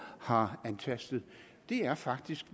har antastet er faktisk